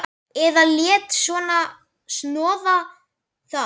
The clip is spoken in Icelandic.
Eða léti snoða það.